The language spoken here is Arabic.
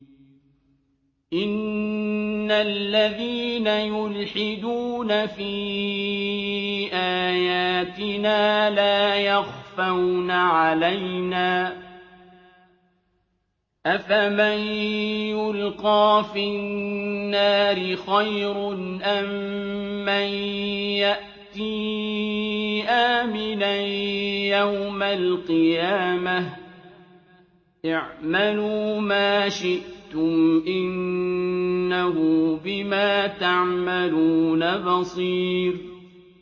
إِنَّ الَّذِينَ يُلْحِدُونَ فِي آيَاتِنَا لَا يَخْفَوْنَ عَلَيْنَا ۗ أَفَمَن يُلْقَىٰ فِي النَّارِ خَيْرٌ أَم مَّن يَأْتِي آمِنًا يَوْمَ الْقِيَامَةِ ۚ اعْمَلُوا مَا شِئْتُمْ ۖ إِنَّهُ بِمَا تَعْمَلُونَ بَصِيرٌ